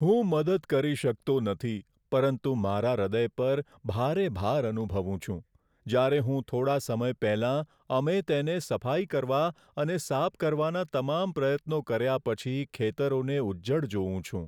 હું મદદ કરી શકતો નથી પરંતુ મારા હૃદય પર ભારે ભાર અનુભવું છું, જ્યારે હું થોડા સમય પહેલા અમે તેને સફાઈ કરવા અને સાફ કરવાના તમામ પ્રયત્નો કર્યા પછી ખેતરોને ઉજ્જડ જોઉં છું.